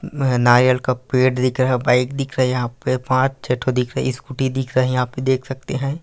न नारयल का पेड़ दिख रहा है बाइक दिख रहा है। यहाँ पे पांच छे ठो दिख रहा है स्कूटी दिख रहा है। यहाँ पे देख सकते है।